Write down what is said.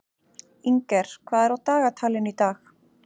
Inger, hvað er á dagatalinu í dag?